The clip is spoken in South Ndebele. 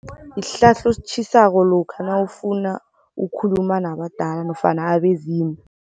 Sihlahla ositjhisako lokha nawufuna ukukhuluma nabadala nofana abezimu.